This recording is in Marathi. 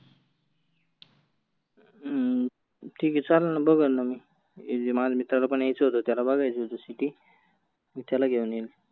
हम्म ठिक आहे चालेल ना बघनं ना मी. ये माझ्या मित्राला पण यायचं होतं त्याला बघायची होती सिटी मी त्याला घेऊन येईल.